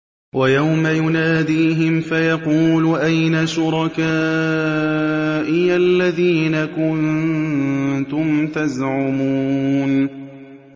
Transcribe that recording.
وَيَوْمَ يُنَادِيهِمْ فَيَقُولُ أَيْنَ شُرَكَائِيَ الَّذِينَ كُنتُمْ تَزْعُمُونَ